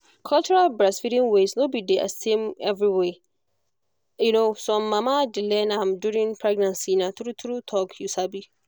cultural breastfeeding ways no be the same everywhere. um some mama dey learn am during pregnancy na true na true talk you sabi.